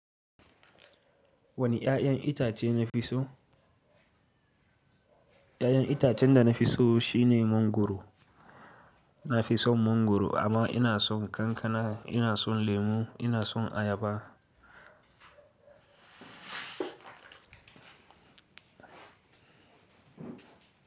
Wane 'ya'yan itace na fi so? 'Ya'yan itacen da na fi so shine mangwaro. Na fi son mangwaro amma ina son kankana, ina son lemu, ina son ayaba.